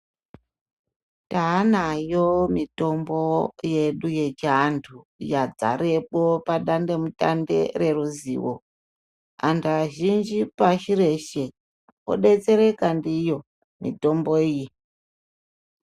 Taanayo mitombo yedu yechiantu yadzarepo padandemutande reruzivo. Antu azhinji pashi reshe odetsereka ndiyo mitombo iyi.